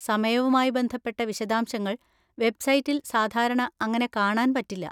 സമയവുമായി ബന്ധപ്പെട്ട വിശദശാംശങ്ങൾ വെബ്‌സൈറ്റിൽ സാധാരണ അങ്ങനെ കാണാൻ പറ്റില്ല.